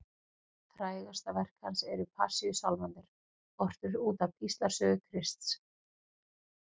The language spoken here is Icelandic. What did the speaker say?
Frægasta verk hans eru Passíusálmarnir, ortir út af píslarsögu Krists.